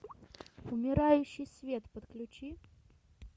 умирающий свет подключи